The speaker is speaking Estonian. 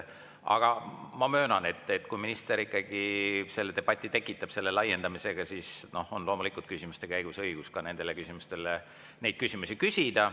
Aga ma möönan, et kui minister ikkagi tekitab debati selle laiendamisega, siis on loomulikult küsimuste käigus õigus ka neid küsimusi küsida.